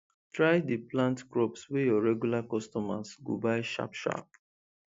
try dey plant crops wey your regular customers go buy sharp sharp